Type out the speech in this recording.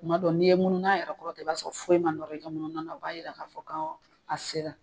Kuma dɔw n'i ye mununa yɛrɛ kɔrɔta i b'a sɔrɔ foyi ma nɔrɔ i ka mununa na o b'a yira k'a fɔ a sera.